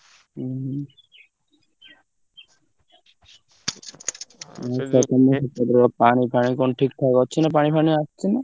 ହୁଁ ହୁଁ। ସେପଟର ପାଣି ଫାଣି କଣ ଠିକ୍ ଠାକ୍ ଅଛି ନା ପାଣି ଫାଣି ଆସୁଚି ନା?